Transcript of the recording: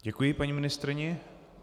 Děkuji paní ministryni.